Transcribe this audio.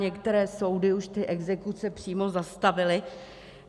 Některé soudy už ty exekuce přímo zastavily.